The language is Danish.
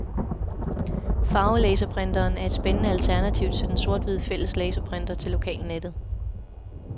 Farvelaserprinteren er et spændende alternativ til den sort-hvide fælles laserprinter til lokalnettet.